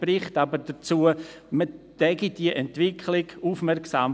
Der Bericht sagt, man verfolge diese Entwicklungen aufmerksam.